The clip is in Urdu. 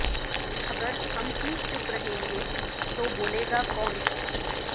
اگر ہم ہی چپ رہیں گے تو بولےگا کون